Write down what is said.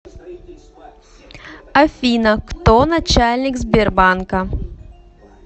афина кто начальник сбербанка